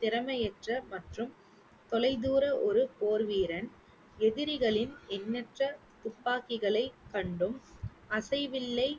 திறமையற்ற மற்றும் தொலைதூர ஒரு போர்வீரன். எதிரிகளின் எண்ணற்ற துப்பாக்கிகளை கண்டும் அசைவில்லை